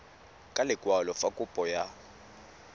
ka lekwalo fa kopo ya